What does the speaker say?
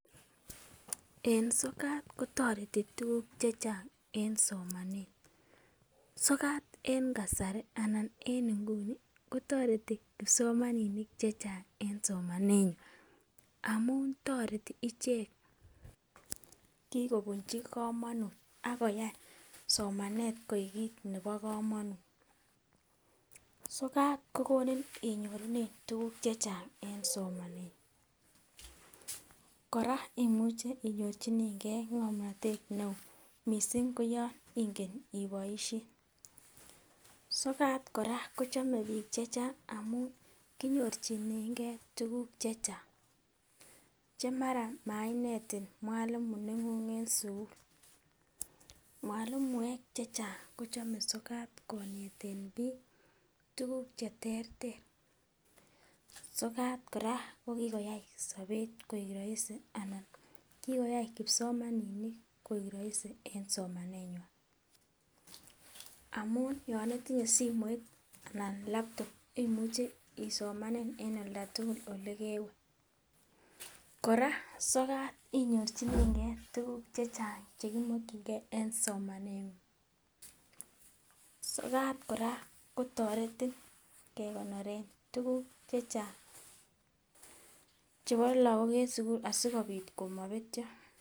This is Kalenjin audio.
Eh sokat kotoreti tukuk chechang en somanet , sokat en kasari anan en nguni kotoreti kipsomaninik chechang en somanenywan amun toreti ichek, kikobunchi komonut akoyai somanet koik kit nebo komonut. Sokat kokimit inyorunen tukukuk chechang en somanengung, Koraa imuche inyorchinengee ngomnotet neo missing koyon ingen iboishen. Sokat Koraa kochome bik chechang amun konyorchinengee tukuk chechang chemara mainetin mwalimu nenguny en sukul , mwalimuek chechang kochome sokat koneten bik tukuk cheterter . Sokat Koraa kokikoyai sobet koik roisi anan kikoyai kipsomaninik koik roisi en somanenywan amun yon itinye simoit anan laptop imuche isomanen en oldatukul olekewe. Koraa sokat inyorchinengee tukuk chechang chekimokingee e. Somanengung, sokat Koraa kotoreti kekonoren tukuk chechang chebo lokok en sukul asikopit komopetyo.